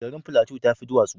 Garin Plateau ta fi duwatsu